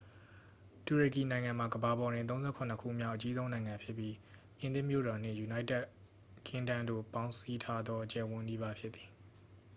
တူရကီနိုင်ငံမှာ ကမ္ဘာပေါ်တွင် 37 ခုမြောက် အကြီးဆုံးနိုင်ငံဖြစ်ပြီး ပြင်သစ်မြို့တော်နှင့် ယူနိုက်တက်ကင်းဒမ်းတို့ ပေါင်းစည်းထားသော အကျယ်အဝန်းနီးပါး ဖြစ်သည်